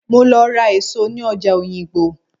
Mo lọ ra èso ní ọjà oyingbo.